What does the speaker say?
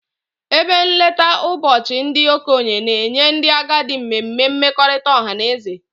Ebe nlekọta ụbọchị ndị okenye na-enye ndị agadi mmemme mmekọrịta ọha na eze